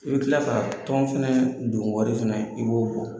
I bɛ tila ka tɔn fana donwari fana i b'o bɔ.